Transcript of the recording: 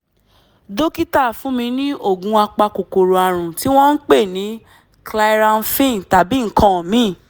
dókítà fún mi ní oògùn apakòkòrò ààrùn tí wọ́n ń pè ní clyramphin tàbí nǹkan míì